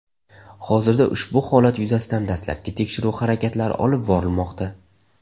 Hozirda ushbu holat yuzasidan dastlabki tekshiruv harakatlari olib borilmoqda.